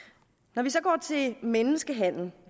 når vi så går til menneskehandel